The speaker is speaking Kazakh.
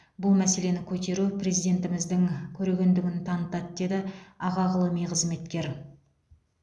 бұл мәселені көтеру президентіміздің көрегендігін танытады деді аға ғылыми қызметкер